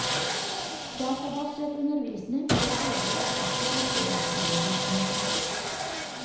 Databasert undervisning vil aldri erstatte klasseromsundervisningen.